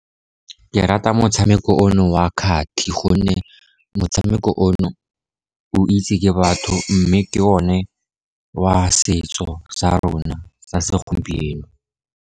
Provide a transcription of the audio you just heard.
Ke rata motshameko ono wa kgati, gonne motshameko ono, o itswe ke batho mme ke o ne wa setso sa rona sa segompieno.